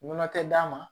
Nɔnɔ tɛ d'a ma